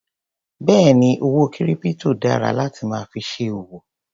Béèni owó kírípítò dára láti máa fi ṣe òwò.